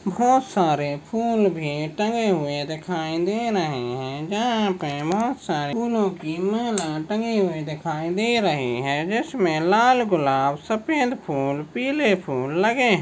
खूप सारे फूल भी टंगे हुए दिखाई दे रहे है. यहा पे बहुत सारे फूलोकी माला टंगी हुई दिखाई दे रही है. जिसमे लाल गुलाब सफ़ेद फूल पीले फूल लगे है.